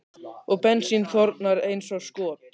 Og bensín þornar eins og skot.